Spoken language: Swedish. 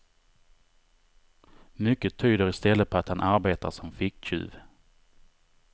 Mycket tyder i stället på att han arbetar som ficktjuv.